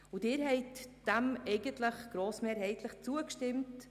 Sie haben ihr grossmehrheitlich zugestimmt.